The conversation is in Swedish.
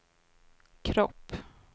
kropp